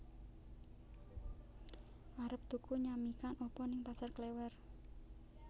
Arep tuku nyamikan apa ning Pasar Klewer?